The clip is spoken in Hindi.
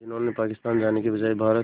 जिन्होंने पाकिस्तान जाने के बजाय भारत